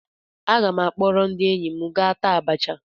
Aga m akpọrọ ndị enyi m gaa taa abacha.